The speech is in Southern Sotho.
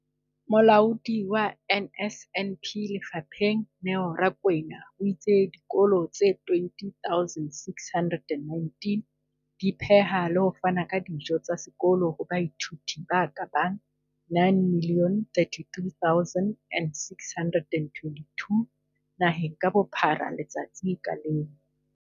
Molaodi wa NSNP lefapheng, Neo Rakwena, o itse dikolo tse 20 619 di pheha le ho fana ka dijo tsa sekolo ho baithuti ba ka bang 9 032 622 naheng ka bophara letsatsi ka leng.